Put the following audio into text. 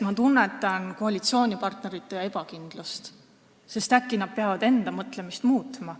Ma tunnetan koalitsioonipartnerite ebakindlust, sest et äkki nad peavad enda mõtlemist muutma.